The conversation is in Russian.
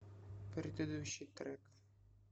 предыдущий трек